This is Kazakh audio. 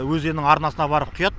өзеннің арнасына барып құяды